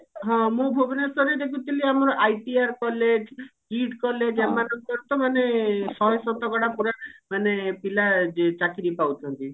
ହଁ ମୁଁ ଭୁବନେଶ୍ବର ରେ ଦେଖୁଥିଲି ଆମର ITER college KIIT college ଏମାନଙ୍କର ତ ମାନେ ଶହେ ଶତକଡା ପୁରା ମାନେ ପିଲା ଚାକିରି ପାଉଛନ୍ତି